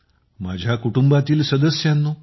माझ्या कुटुंबातील सदस्यांनो